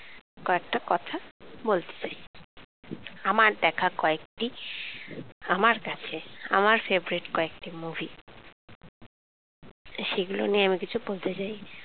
কয়েকটা কথা বলতে চাই আমার দেখা কয়েকটি, আমার কাছে আমার favourite কয়েকটি movie সেগুল নিয়ে আমি কিছু বলতে চাই।